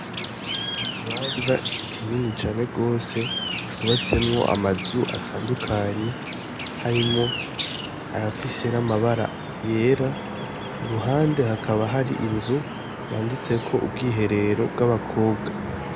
Ikibanza kinini cane gose cubatsemwo amazu atandukanye harimwo ayafise n' amabara yera iruhande hakaba hari inzu yanditseko ubwiherero bw' abakobwa.